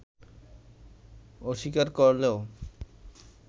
অস্বীকার করলেও